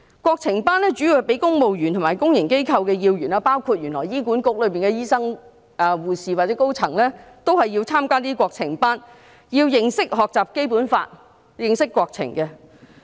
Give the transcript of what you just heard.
國情班的主要對象是公務員和公營機構要員，原來也包括醫院管理局的醫生、護士或高層員工，他們均要參加這類國情班，認識和學習《基本法》，認識國情。